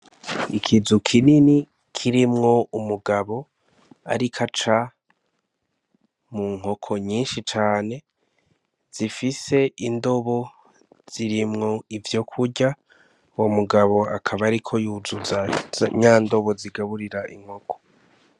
Ikizu kinini kirimwo umugabo ariko aca mu nkoko nyinshi cane zifise indobo zirimwo ivyokurya uwo mugabo akaba ariko yuzuza nya ndobo zigaburira inkoko .